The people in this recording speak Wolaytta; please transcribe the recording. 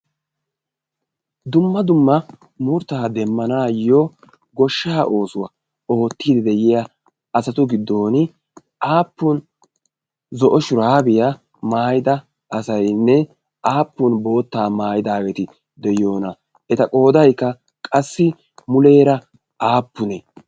dumma dumma murttaa demmanaayyo goshsha oosuwaa oottiidi de'iya asatu giddon aappun zo'o shuraabiyaa maayida asaynne aappun boottaa maayidaageti de'iyoona eta qoodaykka qassi muleera aappunee?